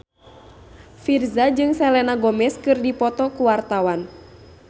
Virzha jeung Selena Gomez keur dipoto ku wartawan